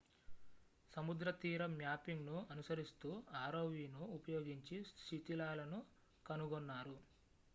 సముద్రతీర మ్యాపింగ్‌ను అనుసరిస్తూ rovను ఉపయోగించి శిథిలాలను కనుగొన్నారు